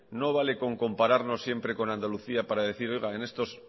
no vale con compararnos siempre con andalucía para decir oiga en estos